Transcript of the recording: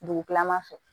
Dugu kilama fɛ